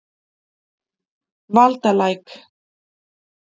Valdalæk